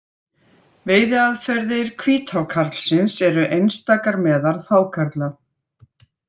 Veiðiaðferðir hvíthákarlsins eru einstakar meðal hákarla.